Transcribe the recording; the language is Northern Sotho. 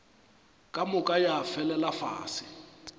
ka moka ya felela fase